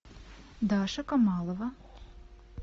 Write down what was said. даша камалова